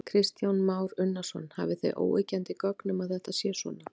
Kristján Már Unnarsson: Hafið þið óyggjandi gögn um að þetta sé svona?